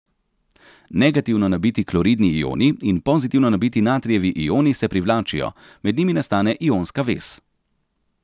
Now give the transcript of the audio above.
Negativno nabiti kloridni ioni in pozitivno nabiti natrijevi ioni se privlačijo, med njimi nastane ionska vez.